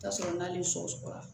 Tasuma n'ale sɔgɔra